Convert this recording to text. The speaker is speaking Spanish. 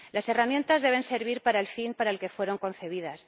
Las herramientas deben servir para el fin para el que fueron concebidas.